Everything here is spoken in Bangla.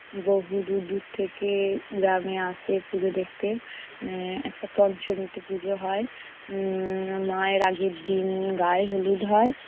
বহু দূর দূর থেকে গ্রামে আসে পুজো দেখতে। আহ একটা পঞ্চমীতে পুজো হয় উম মায়ের আগের দিন গায়ে হলুদ হয়।